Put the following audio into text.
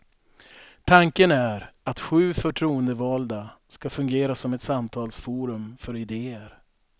Tanken är att sju förtroendevalda ska fungera som ett samtalsforum för idéer.